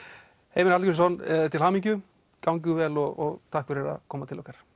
Heimir Hallgrímsson til hamingju gangi vel og takk fyrir að koma til okkar